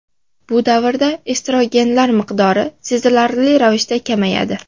Bu davrda estrogenlar miqdori sezilarli ravishda kamayadi.